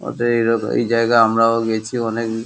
এত ইয়ে দেখো আমরাও এই জায়গায় আমরাও গেছি অনেক।